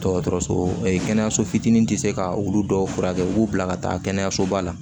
Dɔgɔtɔrɔso kɛnɛyaso fitinin tɛ se ka olu dɔw furakɛ u b'u bila ka taa kɛnɛyasoba la